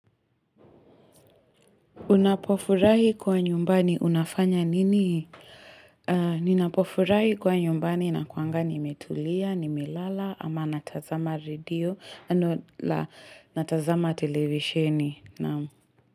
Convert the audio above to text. Unapofurahi kuwa nyumbani, unafanya nini? Ninapofurahi kuwa nyumbani nakuwanga nimetulia, nimelala, ama natazama redio, no la natazama televishini naam.